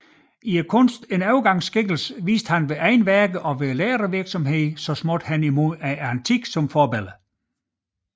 I kunsten en overgangsskikkelse viste han ved egne værker og ved lærervirksomhed så småt hen imod antikken som forbillede